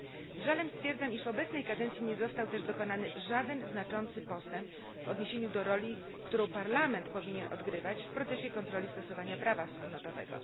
Z żalem stwierdzam, iż w obecnej kadencji nie został też dokonany żaden znaczący postęp w odniesieniu do roli, którą Parlament powinien odgrywać w procesie kontroli stosowania prawa wspólnotowego.